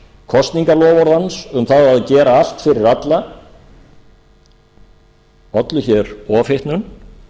kosningaloforð hans um að gera allt fyrir alla ollu ofhitnun